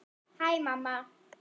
Hæ mamma.